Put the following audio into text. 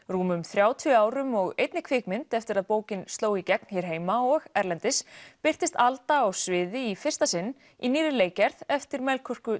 rúmum þrjátíu árum og einni kvikmynd eftir að bókin sló í gegn hér heima og erlendis birtist Alda á sviði í fyrsta sinn í nýrri leikgerð eftir Melkorku